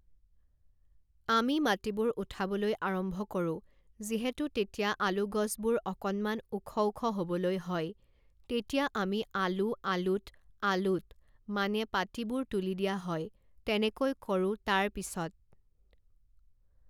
আমি মাটিবোৰ উঠাবলৈ আৰম্ভ কৰোঁ যিহেতু তেতিয়া আলু গছবোৰ অকণমান ওখ ওখ হ'বলৈ হয় তেতিয়া আমি আলু আলুত আলুত মানে পাতিবোৰ তুলি দিয়া হয় তেনেকৈ কৰোঁ তাৰ পিছত